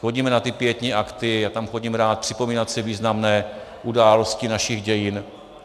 Chodíme na ty pietní akty, já tam chodím rád připomínat si významné události našich dějin.